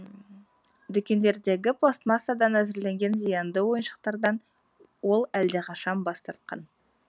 дүкендердегі пластмассадан әзірленген зиянды ойыншықтардан ол әлдеқашан бас тартқан